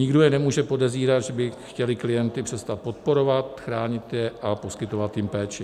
Nikdo je nemůže podezírat, že by chtěli klienty přestat podporovat, chránit je a poskytovat jim péči.